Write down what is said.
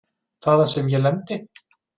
Þaðan sem ég lendi?